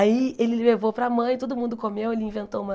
Aí ele levou para a mãe, todo mundo comeu, ele inventou uma...